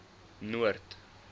noord